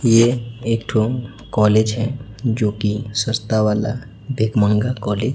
ये एक ठो कॉलेज है जो कि सस्ता वाला भीख मंगा कॉलेज --